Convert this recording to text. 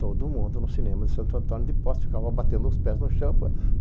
Todo mundo, no cinema de Santo Antônio de Postos, ficava batendo os pés no champa.